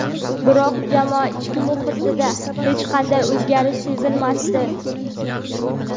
Biroq jamoa ichki muhitida hech qanday o‘zgarish sezilmasdi.